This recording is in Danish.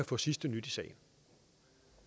få sidste nyt